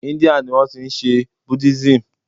India ni wọ́n ti n se buddhism